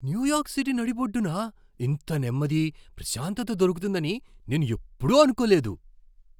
New York City నడిబొడ్డున ఇంత నెమ్మది, ప్రశాంతత దొరుకుతుందని నేను ఎప్పుడూ అనుకోలేదు!